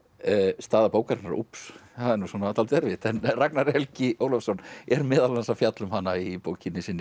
staða bókarinnar úps það er nú dálítið erfitt en Ragnar Helgi Ólafsson er meðal annars að fjalla um hana í bókinni sinni